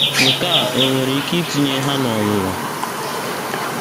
Nke a ò nwere ike itinye ha n’ọnwụnwa?